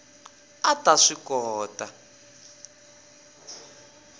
a a ta swi kota